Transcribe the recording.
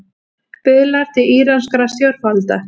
Biðlar til íranskra stjórnvalda